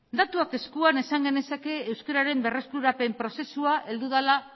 datuak eskuan esan genezake euskararen berreskurapen prozesua heldu dela